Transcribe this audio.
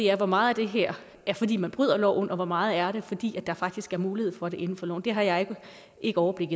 er hvor meget af det her er fordi man bryder loven og hvor meget af det er fordi der faktisk er mulighed for det inden for loven det har jeg ikke overblik